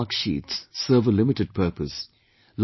Marks and marksheet serve a limited purpose